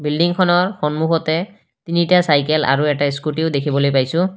বিল্ডিংখনৰ সন্মুখতে তিনিটা চাইকেল আৰু এটা স্কুটিও দেখিবলৈ পাইছোঁ।